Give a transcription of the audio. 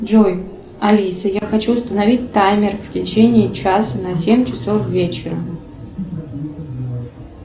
джой алиса я хочу установить таймер в течении часа на семь часов вечера